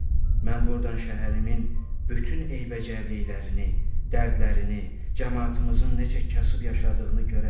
Mən buradan şəhərimin bütün eybəcərliklərini, dərdlərini, camaatımızın necə kasıb yaşadığını görə bilirəm.